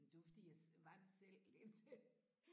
Men det var fordi jeg var det selv indtil